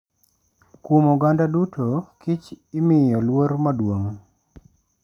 Kuom oganda duto, kich imiyo luor madu'ong.